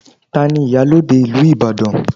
Ta ni iyalode ìlú Ibadan?